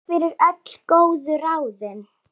Takk fyrir öll góðu ráðin.